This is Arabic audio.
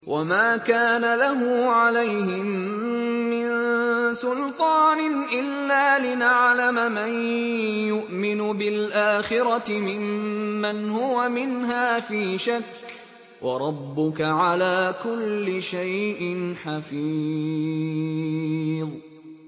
وَمَا كَانَ لَهُ عَلَيْهِم مِّن سُلْطَانٍ إِلَّا لِنَعْلَمَ مَن يُؤْمِنُ بِالْآخِرَةِ مِمَّنْ هُوَ مِنْهَا فِي شَكٍّ ۗ وَرَبُّكَ عَلَىٰ كُلِّ شَيْءٍ حَفِيظٌ